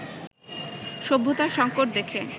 সভ্যতার সংকট দেখে